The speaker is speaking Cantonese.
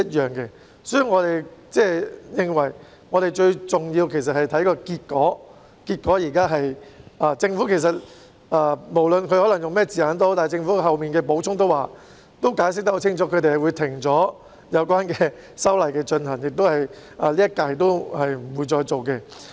有見及此，我們認為最重要的是結果，無論政府採用甚麼字眼，但政府其後的補充已清楚解釋，他們會停止有關的修例工作，不會在今屆立法會推行。